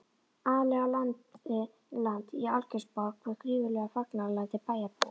Ali á land í Algeirsborg við gífurleg fagnaðarlæti bæjarbúa.